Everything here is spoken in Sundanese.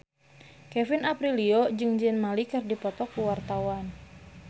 Kevin Aprilio jeung Zayn Malik keur dipoto ku wartawan